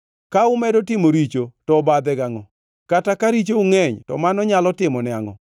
Ka umedo timo richo, to obadhe gangʼo? Kata ka richou ngʼeny to mano nyalo timone angʼo?